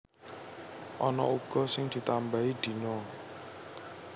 Ana uga sing ditambahi dina